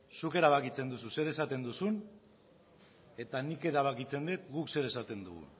zuk erabakitzen duzu zer esaten duzun eta nik erabakitzen dut guk zer esaten dugun